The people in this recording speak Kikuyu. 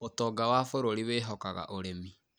ũtonga wa bũrũri wehikaga ũrĩmi.